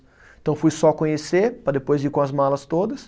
Então, fui só conhecer, para depois ir com as malas todas.